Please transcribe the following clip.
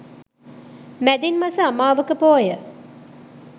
මැදින් මස අමාවක පෝය